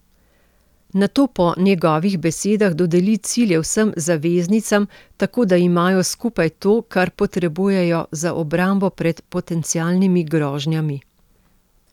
Nato po njegovih besedah dodeli cilje vsem zaveznicam, tako da imajo skupaj to, kar potrebujejo za obrambo pred potencialnimi grožnjami.